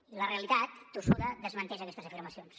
i la realitat tossuda desmenteix aquestes afirmacions